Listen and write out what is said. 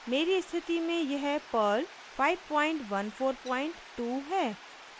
मेरी स्थिति में यह perl 5142 है